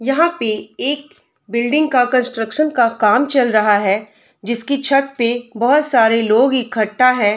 यहाँ पे एक बिल्डिंग का कंस्ट्रक्शन का काम चल रहा है जिसकी छत पे बहोत सारी लोग इकठ्ठा है।